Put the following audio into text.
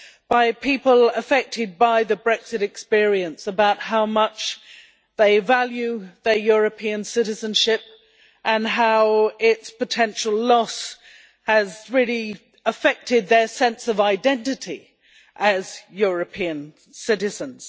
by people affected by the Brexit experience about how much they value their European citizenship and how its potential loss has really affected their sense of identity as European citizens.